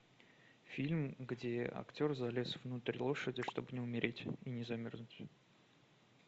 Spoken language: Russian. фильм где актер залез внутрь лошади чтобы не умереть и не замерзнуть